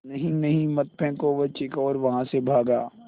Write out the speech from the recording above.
नहीं नहीं मत फेंको वह चीखा और वहाँ से भागा